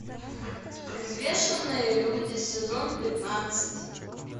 взвешенные люди сезон пятнадцать